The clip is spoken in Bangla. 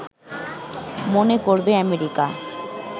মনে করবে আমেরিকা